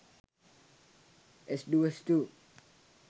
s duos 2